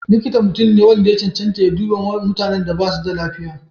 Likita mutum ne wanda ya cancanta ya duba mutanen da basu da lafiya.